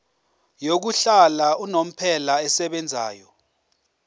yokuhlala unomphela esebenzayo